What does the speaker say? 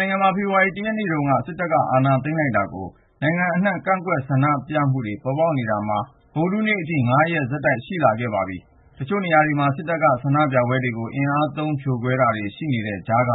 နိုင်ငံမှာ ဖေဖော်ဝါရီ ၁ ရက်နေ့ တုန်းက စစ်တပ်အာဏာ သိမ်းလိုက်တာကို နိုင်ငံအနှံ့ ကန့်ကွက်ဆန္ဒပြမှုတွေ ပေါ်ပေါက်လာနေတာ ဗုဒ္ဓဟူးနေ့အထိ ၅ ရက် ဆက်တိုက်ရှိလာခဲ့ပါပြီ ။ တချို့နေရာတွေမှာ စစ်တပ်က ဆန္ဒပြပွဲတွေကို အင်အားသုံး ဖြိုခွဲတာရှိနေတဲ့ ကြားက